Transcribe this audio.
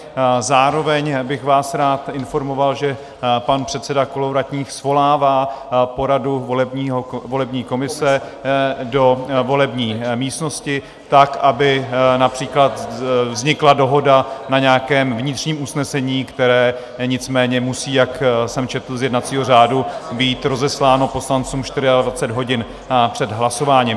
Zároveň bych vás rád informoval, že pan předseda Kolovratník svolává poradu volební komise do volební místnosti tak, aby například vznikla dohoda na nějakém vnitřním usnesení, které nicméně musí, jak jsem četl v jednacím řádu, být rozesláno poslancům 24 hodin před hlasováním.